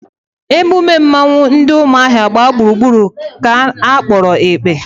Emume mmọnwụ ndị umuahia gbaa gburugburu ka a kpọrọ ekpe